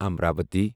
Amravati